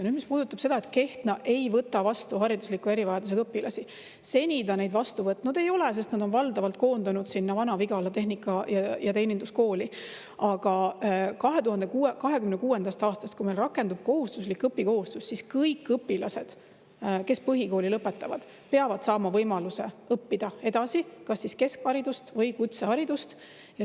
Nüüd, mis puudutab seda, et Kehtna ei võta vastu haridusliku erivajadusega õpilasi: seni ta neid vastu võtnud ei ole, sest nad on valdavalt koondunud Vana-Vigala Tehnika- ja Teeninduskooli, aga 2026. aastast, kui meil rakendub kohustuslik õpikohustus, peavad kõik õpilased, kes põhikooli lõpetavad, saama võimaluse õppida edasi, kas keskhariduse või kutsehariduse.